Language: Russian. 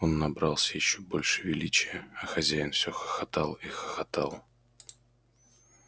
он набрался ещё больше величия а хозяин все хохотал и хохотал